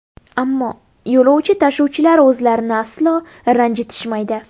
Ammo yo‘lovchi tashuvchilar o‘zlarini aslo ranjitishmaydi.